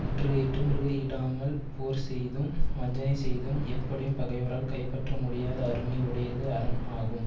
முற்றுகையிட்டும் முறுகையிடாமல் போர் செய்தும் வஞ்சனை செய்தும் எப்படியும் பகைவரால் கைப்பற்ற முடியாத அருமை உடையது அரண் ஆகும்